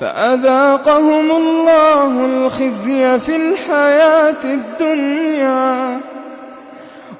فَأَذَاقَهُمُ اللَّهُ الْخِزْيَ فِي الْحَيَاةِ الدُّنْيَا ۖ